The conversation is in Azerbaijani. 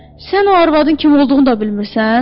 Sən o arvadın kim olduğunu da bilmirsən?